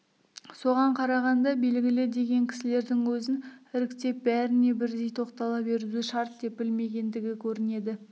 соған қарағанда белгілі деген кісілердің өзін іріктеп бәріне бірдей тоқтала беруді шарт деп білмегендігі көрінеді